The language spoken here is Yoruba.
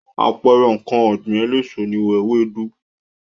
Àpẹẹrẹ ǹkan ọ̀gbìn eléso ni ewédú.